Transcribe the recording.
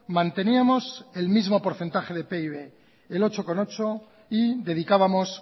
manteníamos el mismo porcentaje de pib el ocho coma ocho y dedicábamos